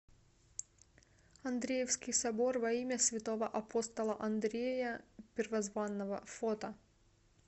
андреевский собор во имя святого апостола андрея первозванного фото